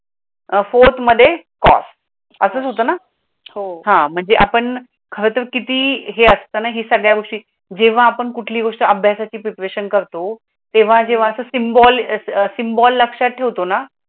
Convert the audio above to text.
fourth मध्ये असच होत ना, म्हणजे आपण खर तर किती हे असतानाही सगळ्या गोष्टी जेव्हा आपण कुठली गोष्ट अभ्यासाच करतो तेव्हा जेव्हा अस सिम्बोल, सिम्बोल लक्षात ठेवतो ना